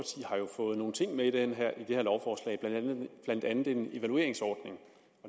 fået nogle ting med i det her lovforslag blandt andet en evalueringsordning